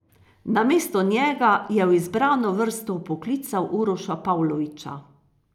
Namesto njega je v izbrano vrsto vpoklical Uroša Pavloviča.